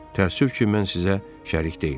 "Təəssüf ki, mən sizə şərik deyiləm."